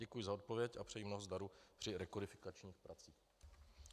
Děkuji za odpověď a přeji mnoho zdaru při rekodifikačních pracích.